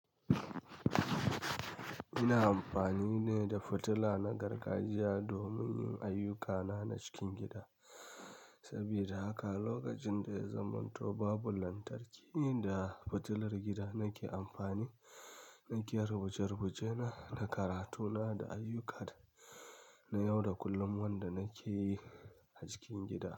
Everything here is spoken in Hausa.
Ina amfani ne da fitila na gargajiya domin yin ayyukana na cikin gida. Saboda haka lokacin da ya zamanto babu lantarki, ni da fitilar gida nake amfani. Nake rubuce-rubucena da karatuna da ayyuka na yau da kullum wanda nake yi a cikin gida.